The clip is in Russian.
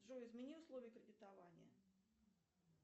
джой измени условия кредитования